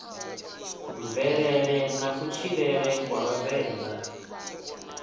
mvelele na kutshilele kwa vhavenḓa